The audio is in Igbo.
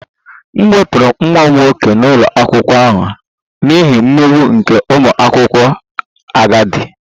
M wepụrụ nwa m nwoke n'ụlọ akwụkwọ ahụ n'ihi mmegbu nke ụmụ akwụkwọ agadi